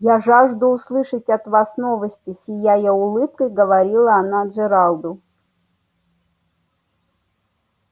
я жажду услышать от вас новости сияя улыбкой говорила она джералду